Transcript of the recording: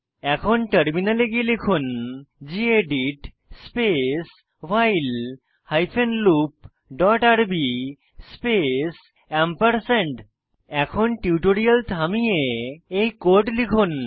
এখন টার্মিনালে গিয়ে লিখুন gedit space while hyphen loop dot RB space এখন টিউটোরিয়াল থামিয়ে এই কোড লিখুন